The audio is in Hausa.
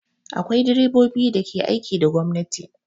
Akwai direbobi da ke aiki da gwamnati.